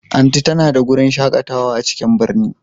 Aunty ta na da wurin shakatawa a cikin birni.